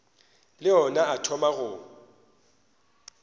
le ona a thoma go